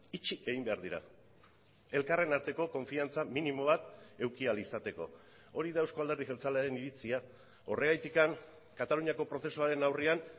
itxi egin behar dira elkarren arteko konfiantza minimo bat eduki ahal izateko hori da euzko alderdi jeltzalearen iritzia horregatik kataluniako prozesuaren aurrean